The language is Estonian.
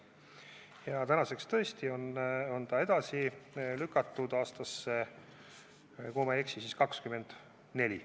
Ja tänaseks on see tõesti edasi lükatud, kui ma ei eksi, siis aastasse 2024.